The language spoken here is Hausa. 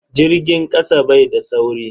Jirgin kasa bai da sauri.